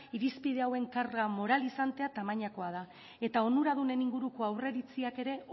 irizpide hauen karga moralizantea tamainakoa da eta onuradunen inguruko aurreiritziak ere